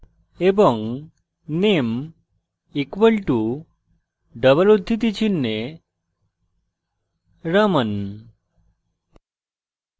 এবং name equal to double উদ্ধৃতি চিনহে raman